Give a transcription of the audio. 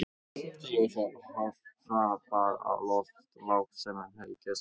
Sá hrapar oft lágt sem hreykist hátt.